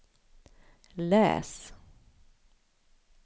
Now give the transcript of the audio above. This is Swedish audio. läs